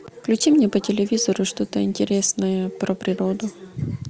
включи мне по телевизору что то интересное про природу